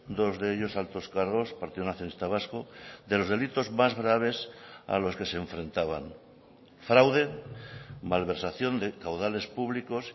dos de ellos altos cargos partido nacionalista vasco de los delitos más graves a los que se enfrentaban fraude malversación de caudales públicos